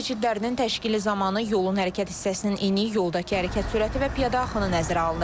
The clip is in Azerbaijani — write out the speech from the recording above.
Piyada keçidlərinin təşkili zamanı yolun hərəkət hissəsinin eni, yoldakı hərəkət sürəti və piyada axını nəzərə alınır.